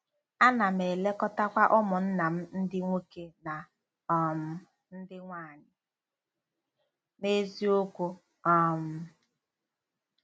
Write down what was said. Ana m elekọtakwa ụmụnna m ndị nwoke na um ndị nwaanyị n’eziokwu um.